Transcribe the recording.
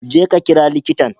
Je ka kira likitan.